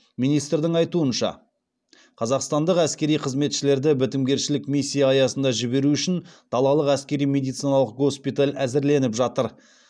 министрдің айтуынша қазақстандық әскери қызметшілерді бітімгершілік миссия аясында жіберу үшін далалық әскери медициналық госпиталь әзірленіп жатыр